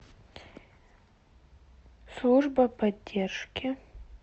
служба поддержки